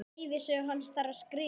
Ævisögu hans þarf að skrifa.